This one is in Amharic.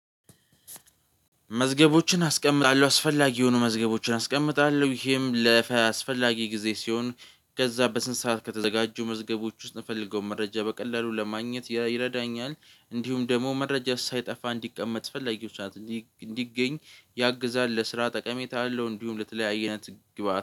መዝገቦችን አስቀምጣለሁ አስፈላጊ የሆኑ መዝገቦችን አስቀምጣለሁ ይሄም ለፈ አስፈላጊ ጊዜ ሲሆን ከዛ በስንት ሰዓት ከተዘጋጁ መዝገቦች ውስጥ እምፈልገው መረጃ በቀላሉ ለማግኘት ይረዳኛል። እንዲሁም ደግሞ መረጃ ሳይጠፋ እንዲቀመጥ ፈለጊዎች እንዲገኝ ያግዛል። ለስራ ጠቀሜታ አለው። እንዲሁም ለተለያየ አይነት ግብአት